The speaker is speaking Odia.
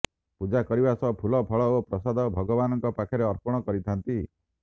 ପୂଜା କରିବା ସହ ଫୁଲ ଫଳ ଓ ପ୍ରସାଦ ଭଗବାନଙ୍କ ପାଖରେ ଅର୍ପଣ କରିଥାନ୍ତି